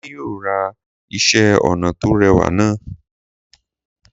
Adé yóò ra iṣẹ́-ọnà tó rẹwà náà.